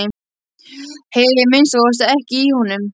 Heyri að minnsta kosti ekki í honum.